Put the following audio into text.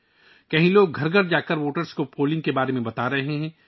کچھ جگہوں پر لوگ گھر گھر جاتے ہیں اور رائے دہندگان کو ووٹ ڈالنے کے بارے میں بتاتے ہیں